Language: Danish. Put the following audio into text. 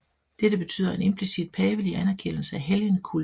Dette betyder en implicit pavelig anerkendelse af helgenkulten